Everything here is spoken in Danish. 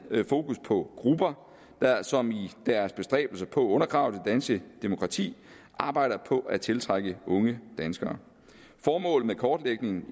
fokus på grupper som i deres bestræbelser på at undergrave det danske demokrati arbejder på at tiltrække unge danskere formålet med kortlægningen